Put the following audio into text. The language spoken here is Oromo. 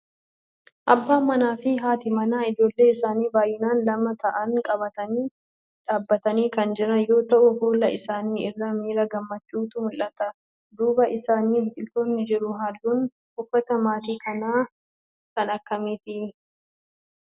Abbaan manaa fi haati manaa ijoollee isaanii baayyinaan lama ta'an qabatanii dhaabbatanii kan jiran yoo ta'u fuula isaanii irraa miira gammachuutu mul'ata. Duuba isaanii biqiltoonni jiru. Halluun uffata maatii kana kan akkamiiti?